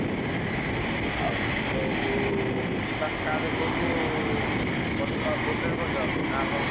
ଉହୁଁ ଆଉ ଗୋଟେ ହେଲା ଯିବା କାହାଧରେ କହିଲୁ କରିଦବ ବୋଲେରୋ କରିଦବ ନା କଣ କହୁଛୁ?